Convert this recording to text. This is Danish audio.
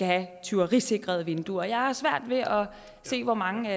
have tyverisikrede vinduer jeg har svært ved at se hvor mange